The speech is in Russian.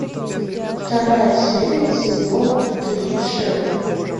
вторая серия сезона три шерлок